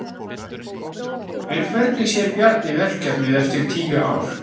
En hvernig sér Bjarni verkefnið eftir tíu ár?